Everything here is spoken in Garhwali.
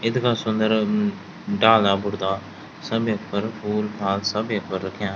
इथगा सुन्दर अ डाला बुठ्गा सब्युं पर फूल फाल सब्या पर रख्यां।